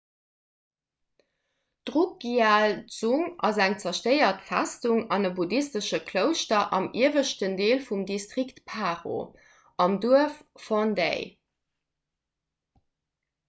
d'drukgyal dzong ass eng zerstéiert festung an e buddhistesche klouschter am ieweschten deel vum distrikt paro am duerf phondey